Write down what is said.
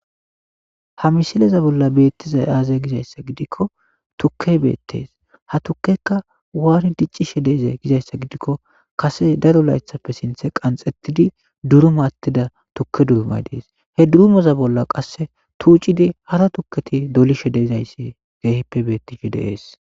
Ha misileza bolla beettizay aazay gizayssa gidikko tukke beettees ha tukekka waari diccishe deeze gizayssa gidikko kase daro laythappe sinthe qanxettidi duruma attida tukke durumay dees he durumeza bolla qasse tuucidi hara tukketi dolishe deezayssi geehippe beettishe deees.